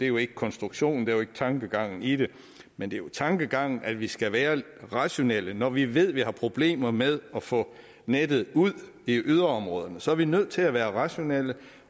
jo ikke konstruktionen det er jo ikke tankegangen i det men det er tankegangen at vi skal være rationelle når vi ved at vi har problemer med at få nettet ud i yderområderne så er vi nødt til at være rationelle